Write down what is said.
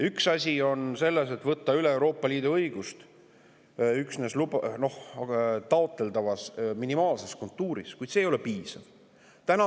Üks asi on võtta üle Euroopa Liidu õigust üksnes taotletava minimaalse kontuuriga, kuid see ei ole piisav.